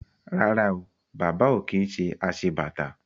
Rárá o, Bàbá ò kí ń ṣe aṣebàtà